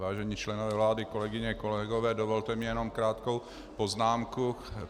Vážení členové vlády, kolegyně, kolegové, dovolte mi jenom krátkou poznámku.